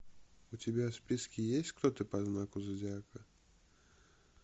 у тебя в списке есть кто ты по знаку зодиака